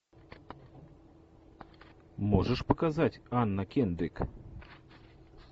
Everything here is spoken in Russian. можешь показать анна кендрик